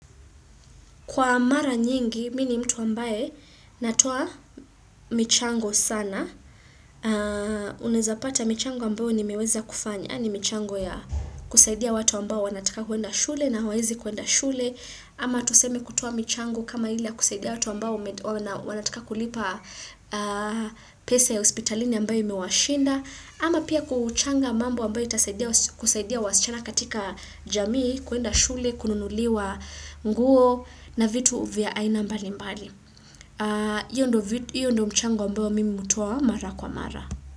Kwa mara nyingi, mi ni mtu ambaye natuo michango sana. Unawezapata michango ambayo ni meweza kufanya. Ni michango ya kusaidia watu ambao wanataka kwenda shule na huwawezi kwenda shule. Ama tuseme kutuo michango kama ili ya kusaidia watu ambao wanataka kulipa pesa ya hospitalini ambayo imewashinda. Ama pia kuchanga mambo ambayo itasaidia wasichana katika jamii, kwenda shule, kununuliwa nguo na vitu vya aina mbali mbali. Iyo ndo mchango mbao mimi hutoa mara kwa mara.